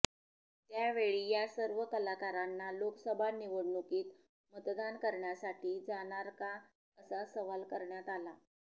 त्यावेळी या सर्व कलाकारांना लोकसभा निवडणुकीत मतदान करण्यासाठी जाणार का असा सवाल करण्यात आला